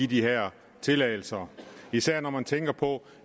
de her tilladelser især når man tænker på